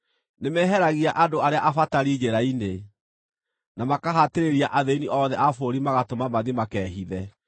Nĩ meeheragia andũ arĩa abatari njĩra-inĩ, na makahatĩrĩria athĩĩni othe a bũrũri magatũma mathiĩ makehithe.